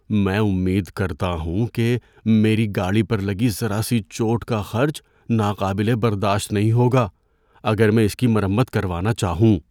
میں امید کرتا ہوں کہ میری گاڑی پر لگی ذرا سی چوٹ کا خرچ ناقابل برداشت نہیں ہوگا اگر میں اس کی مرمت کروانا چاہوں۔